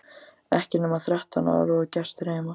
Ekki nema þrettán ára og gestir heima!